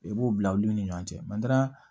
I b'o bila olu ni ɲɔgɔn cɛ